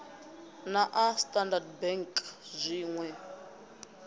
na a standard bank zwinwe